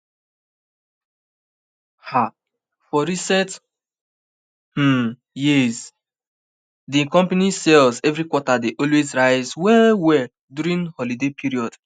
um for recent um years di company sales every quarter dey always rise well well during holiday period